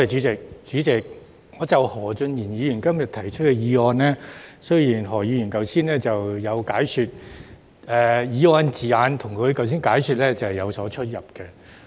主席，就何俊賢議員今天提出的議案，雖然何議員今天有作解說，但議案措辭跟他剛才的解說有所差異。